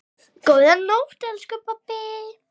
Góða nótt, elsku pabbi.